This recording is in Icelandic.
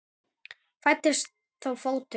Fæddist þá fótur.